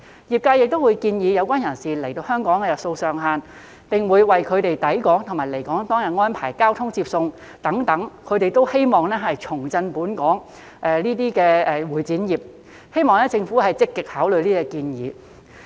業界亦會建議有關人士留港的日數上限，並會為他們抵港和離港當日安排交通接送等，希望藉此重振本地的會展業，希望政府積極考慮這些建議。